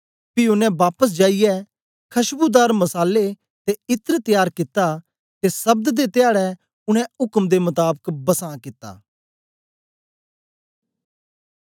पी ओनें बापस जाईयै खशबूदार मसाले ते इत्र त्यार कित्ता ते सब्त दे धयाडै उनै उक्म दे मताबक बसां कित्ता